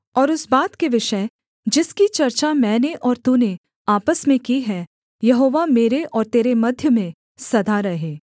और उस बात के विषय जिसकी चर्चा मैंने और तूने आपस में की है यहोवा मेरे और तेरे मध्य में सदा रहे